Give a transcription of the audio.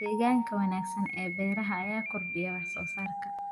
Deegaanka wanaagsan ee beeraha ayaa kordhiya wax soo saarka.